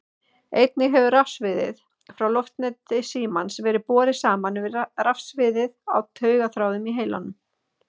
Einnig hefur rafsviðið frá loftneti símans verið borið saman við rafsviðið á taugaþráðum í heilanum.